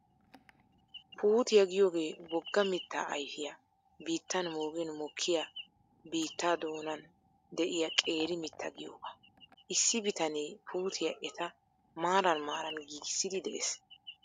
Puutiyaa giyoogee wogga mittaa ayfiyaa biitan moogin mokkiyaa biittaa doonan de'iyaa qeeri mittaa giyoogaa. Issi bitanee puutiyaa eta maaran maaran giigissiiddi de'ees.